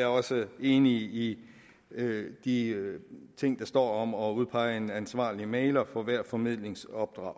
er også enig i de ting der står om at udpege en ansvarlig mægler for hvert formidlingsopdrag